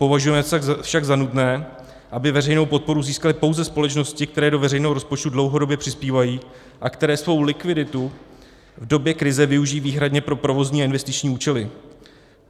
Považujeme však za nutné, aby veřejnou podporu získaly pouze společnosti, které do veřejného rozpočtu dlouhodobě přispívají a které svou likviditu v době krize využijí výhradně pro provozní a investiční účely.